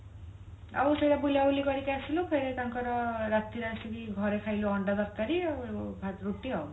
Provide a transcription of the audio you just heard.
ଆଉ ସିଆଡେ ବୁଲ ବୁଲି କରିକି ଆସିଲୁ ଫେରେ ତାଙ୍କର ରାତିରେ ଆସିକି ଘରେ ଖାଇଲୁ ଅଣ୍ଡା ତରକାରୀ ଆଉ ଭା ରୁଟି ଆଉ